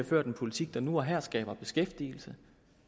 ført en politik der nu og her skaber beskæftigelse